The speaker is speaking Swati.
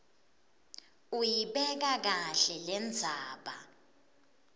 uyibeka kahle lendzaba